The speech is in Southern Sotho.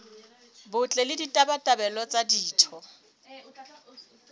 botle le ditabatabelo tsa ditho